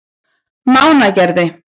Mánagerði